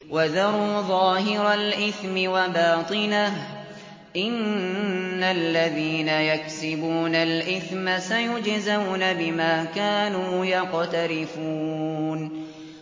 وَذَرُوا ظَاهِرَ الْإِثْمِ وَبَاطِنَهُ ۚ إِنَّ الَّذِينَ يَكْسِبُونَ الْإِثْمَ سَيُجْزَوْنَ بِمَا كَانُوا يَقْتَرِفُونَ